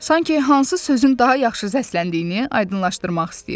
Sanki hansı sözün daha yaxşı səsləndiyini aydınlaşdırmaq istəyirdi.